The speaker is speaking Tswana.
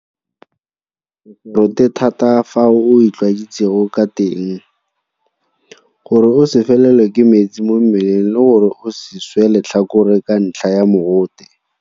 Go se rote thata ka fao o itlwaetseng ka teng. Gore o se felelwe ke metsi mo mmeleng le gore o se swe letlhakore ka ntlha ya mogote.